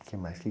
O que mais que